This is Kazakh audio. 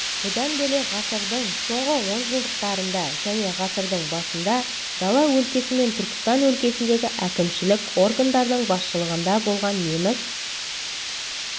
бұдан бөлек ғасырдың соңғы онжылдықтарында және ғасырдың басында дала өлкесі мен түркістан өлкесіндегі әкімшілік органдардың басшылығында болған неміс